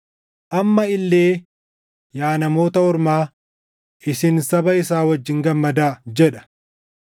Amma illee, “Yaa Namoota Ormaa, isin saba isaa wajjin gammadaa” + 15:10 \+xt KeD 32:43\+xt* jedha.